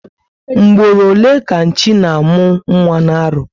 Mgboro ole ka Nchi na amụ nwa na arọ?